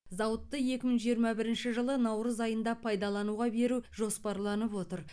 зауытты екі мың жиырма бірінші жылы наурыз айында пайдалануға беру жоспарланып отыр